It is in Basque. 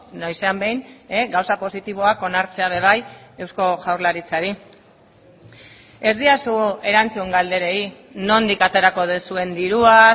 noizean behin gauza positiboak onartzea ere bai eusko jaurlaritzari ez didazu erantzun galderei nondik aterako duzuen dirua